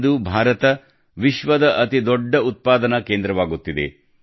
ಇಂದು ಭಾರತ ವಿಶ್ವದ ಅತಿದೊಡ್ಡ ಉತ್ಪಾದನಾ ಕೇಂದ್ರವಾಗುತ್ತಿದೆ